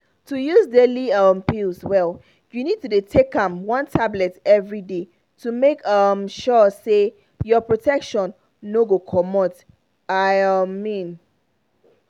to use daily um pills well you need to dey take one tablet every day to make um sure say your protection no go comot i um mean.